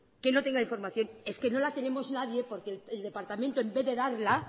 que no tenga información es que no la tenemos nadie porque el departamento en vez de darla